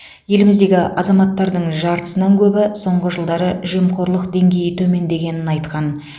еліміздегі азаматтардың жартысынан көбі соңғы жылдары жемқорлық деңгейі төмендегенін айтқан